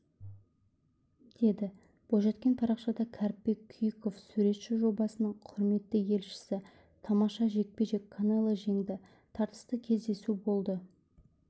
деді бойжеткен парақшада кәріпбек күйіков суретші жобасының құрметті елшісі тамаша жекпе-жек канело жеңді тартысты кездесу болды